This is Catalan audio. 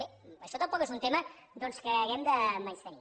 bé això tampoc és un tema que hàgim de menystenir